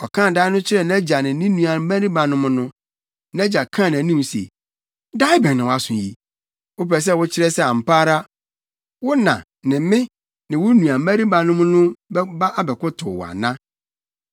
Ɔkaa dae no kyerɛɛ nʼagya ne ne nuabarimanom no, nʼagya kaa nʼanim se, “Dae bɛn na woaso yi? Wopɛ sɛ wokyerɛ sɛ ampa ara, wo na ne me ne wo nuabarimanom no bɛba abɛkotow wo ana?”